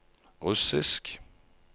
russisk